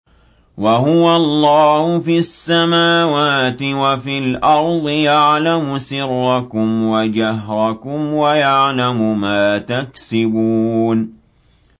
وَهُوَ اللَّهُ فِي السَّمَاوَاتِ وَفِي الْأَرْضِ ۖ يَعْلَمُ سِرَّكُمْ وَجَهْرَكُمْ وَيَعْلَمُ مَا تَكْسِبُونَ